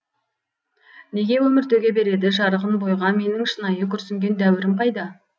неге өмір төге береді жарығын бойға менің шынайы күрсінген дәуірім қайда